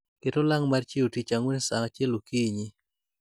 ket olang' mar chiewo tich ang'wen saa achiel okinyi